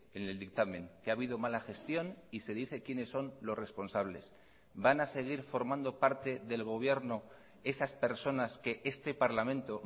en el dictamen que ha habido mala gestión y se dice quienes son los responsables van a seguir formando parte del gobierno esas personas que este parlamento